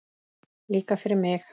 Líka fyrir mig!